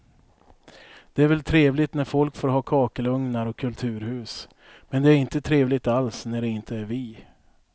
Det är väl trevligt när folk får ha kakelugnar och kulturhus, men det är inte trevligt alls när det inte är vi.